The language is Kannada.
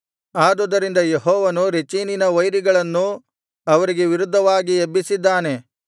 ಆದುದರಿಂದ ಯೆಹೋವನು ರೆಚೀನಿನ ವೈರಿಗಳನ್ನು ಅವರಿಗೆ ವಿರುದ್ಧವಾಗಿ ಎಬ್ಬಿಸಿದ್ದಾನೆ